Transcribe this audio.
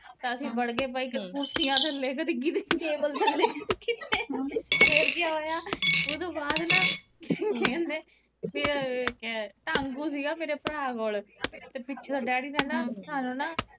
ਅਸੀਂ ਜਾ ਕੇ ਵੜ ਗਏ ਕੁਰਸੀਆਂ ਥੱਲੇ ਕਦੇ ਟੇਬਲ ਥੱਲੇ ਫੇਰ ਕਿਆ ਹੋਇਆ ਉਤੋਂ ਬਾਅਦ ਕੇਂਦੇ ਆਂ ਨਾ ਟਾਂਗੂ ਸੀ ਮੇਰੇ ਭਰਾ ਕੋਲ ਤੇ ਪਿੱਛੋਂ ਡੈਡੀ ਨੇ ਨਾ ਸਾਨੂੰ ਨਾ